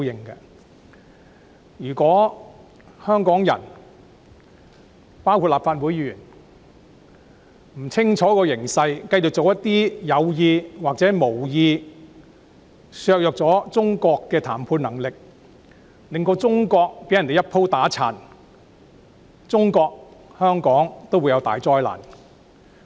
如果香港人——包括立法會議員——不看清楚形勢，繼續故意或無意地做一些削弱中國談判能力的事情，令中國被人"一鋪打殘"，中國和香港屆時都會陷入大災難。